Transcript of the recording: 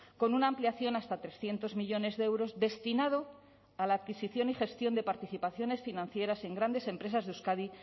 con una ampliación hasta trescientos millónes de euros destinado a la adquisición y gestión de participaciones financieras en grandes empresas de euskadi